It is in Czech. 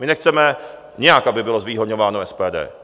My nechceme nijak, aby bylo zvýhodňováno SPD.